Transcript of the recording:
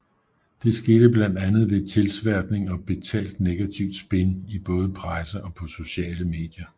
Det skete blandt andet ved tilsværtning og betalt negativt spin i både presse og på sociale medier